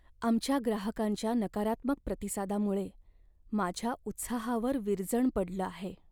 आमच्या ग्राहकांच्या नकारात्मक प्रतिसादामुळे माझ्या उत्साहावर विरजण पडलं आहे.